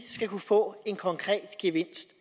skal kunne få en konkret gevinst